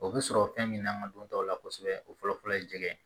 O bɛ sɔrɔ fɛn min n'an ka don taw la kosɛbɛ o fɔlɔfɔlɔ ye jɛgɛ ye